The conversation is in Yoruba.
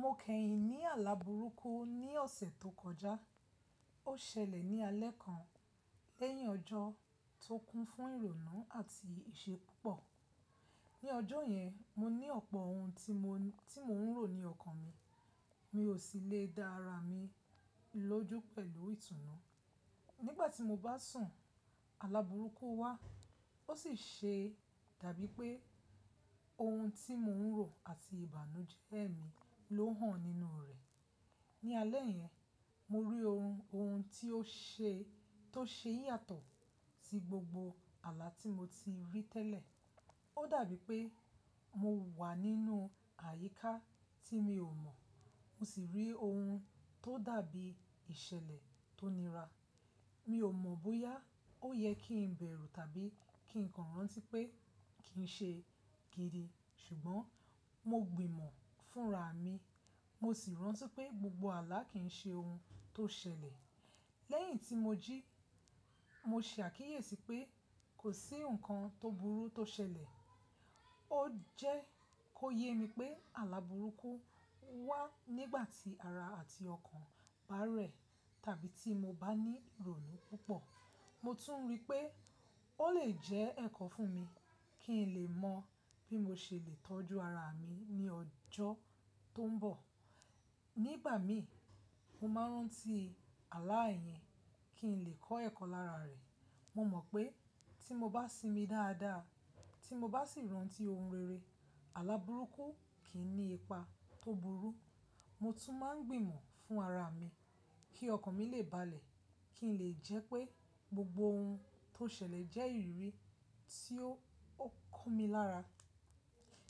Mo kẹ́yìn ní àlabùrúkú ní ọ̀sẹ̀ tó kọjá. Ó ṣẹlẹ̀ ní alẹ́ kan lẹ́yìn ọjọ́ tó kún fún ìrònú àti ìṣe púpọ̀. Ní ọjọ́ yẹn, mo ní ọ̀pọ̀ ohun tí mò ń rò ní ọkàn mi. Mi ò sì lè dá ara mi lójú pẹ̀lú ìtùnú. Nígbà tí mo bá sùn, àla bùrúkú wá, ó sì ṣe dàbí pé ohun tí mò ń rò àti ìbànújẹ́ mi ló hàn nínú rẹ̀. Ní alẹ́ yẹn, mo rí ohun, ohun tó ṣe yàtọ̀ sí gbogbo àlà tí mo ti rí tẹ́lẹ̀. Ó dàbí pé mo wà nínú àyíká tí mi ò mọ̀. Mo sì rí ohun tó dàbí ìṣẹ̀lẹ̀ tó nira. Mi ò mọ̀ bóyá ó yẹ kí n bẹ̀rù tàbí kí n kọ̀ rán tí pé kí n ṣe kiri, ṣùgbọ́n mo gbìmọ̀ fúnra mi, mo sì rántí pé gbogbo àlà kìí ṣe ohun tó ṣẹlẹ̀. Lẹ́yìn tí mo jí, mo ṣe àkíyèsí pé kò sí nǹkan tó burú tó ṣẹlẹ̀. Ó jẹ kó yé mi pé àla bùrúkú wá nígbà tí ara àti ọkàn bá rẹ̀ tàbí tí mo bá ní ìrònú púpọ̀. Mo tún rí pé ó lè jẹ́ ẹ̀kọ́ fún mi kí n lè mọ bí mo ṣe lè tọ́jú ara mi ní ọjọ́ tó ń bọ̀. Nígbà mi, mo máa ń rántí àlà ìyẹn kí n lè kọ́ ẹ̀kọ́ lára rẹ̀. Mo mọ̀ pé tí mo bá sinmi dáadáa, tí mo bá sì rántí ohun rere, àlabùrúkú kì í ní ipa tó burú. Mo tún máa ń gbìmọ̀ fún ara mi kí ọkàn mi lè balẹ̀, kí n lè jẹ́ pé gbogbo ohun tó ṣẹlẹ̀ jẹ́ ìrírí tí ó kọ́ mi lára.